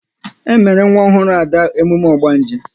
E mere nwa ọhụrụ Ada emume ogbanje